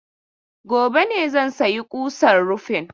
Gobe ne zan sayi kusan rufin.